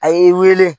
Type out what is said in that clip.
A ye wele